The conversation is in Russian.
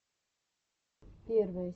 первая серия авесэмар кидс